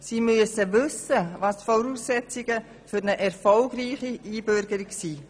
Sie müssen wissen, welches die Voraussetzungen für eine erfolgreiche Einbürgerung sind.